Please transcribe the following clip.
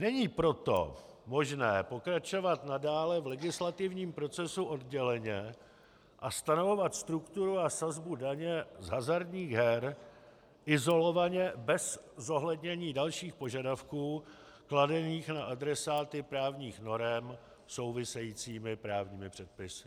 Není proto možné pokračovat nadále v legislativním procesu odděleně a stanovovat strukturu a sazbu daně z hazardních her izolovaně bez zohlednění dalších požadavků kladených na adresáty právních norem souvisejícími právní předpisy.